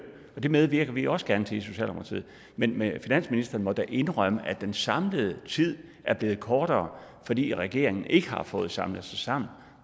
og det medvirker vi også gerne til i socialdemokratiet men men finansministeren må da indrømme at den samlede tid er blevet kortere fordi regeringen ikke har fået samlet sig sammen